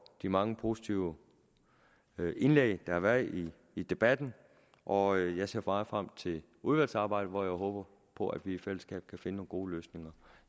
de mange positive indlæg der har været i i debatten og jeg ser meget frem til udvalgsarbejdet hvor jeg håber på at vi i fællesskab kan finde nogle gode løsninger